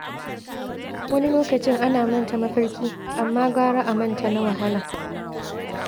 Wani lokacin ana manta mafarki, amma gara a manta na wahala.